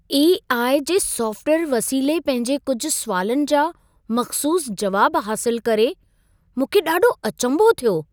AI. जे software वसीले पंहिंजे कुझु सुवालनि जा मख़्सूस जवाब हासिलु करे मूंखे ॾाढो अचंभो थियो।